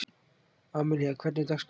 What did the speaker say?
Amelía, hvernig er dagskráin?